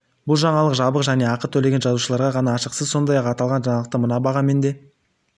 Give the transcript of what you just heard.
бұл жаңалық жабық және ақы төлеген жазылушыларға ғана ашық сіз сондай-ақ аталған жаңалықты мына бағамен де